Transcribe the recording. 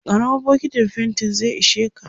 karamar bokintin fainti zai isheka